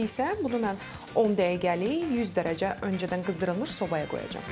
İndi isə bunu mən 10 dəqiqəlik 100 dərəcə öncədən qızdırılmış sobaya qoyacam.